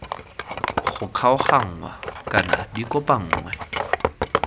go kgaoganngwa kana di kopanngwe